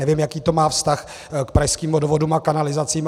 Nevím, jaký to má vztah k Pražským vodovodům a kanalizacím.